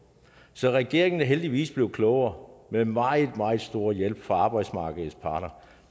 så regeringen er heldigvis blevet klogere med meget meget stor hjælp fra arbejdsmarkedets parter